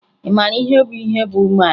Ị mara ihe bụ ihe bụ umeala?